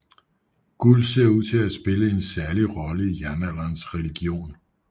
Guld ser ud til at have spillet en særlig rolle i jernalderens religion